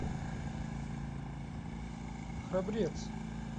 храбрец